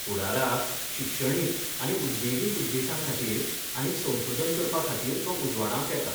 फुडाराक शिक्षणीक आनी उद्देगीक उद्देश्यांखातीर आनीक संशोधन करपखातीर तो उजवाडावंक येता.